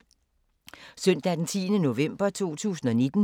Søndag d. 10. november 2019